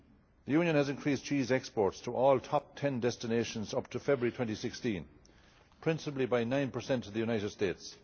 The Union has increased cheese exports to all top ten destinations up to February 2016, principally by 9 to the United States.